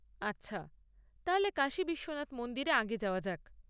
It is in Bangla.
আচ্ছা, তাহলে কাশী বিশ্বনাথ মন্দিরে আগে যাওয়া যাক!